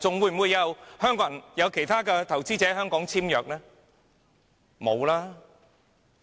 還會有其他投資者來港簽約嗎？